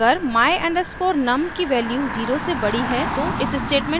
अगर my_num की value 0 से बड़ी है तो if स्टेटमेंट इसे जंचेगा